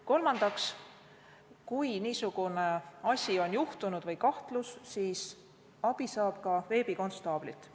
Kolmandaks, kui niisugune asi on juhtunud või on kahtlus, siis saab abi ka veebikonstaablilt.